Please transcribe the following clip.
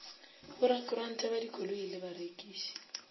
borakontraka ba dikoloi le barekiši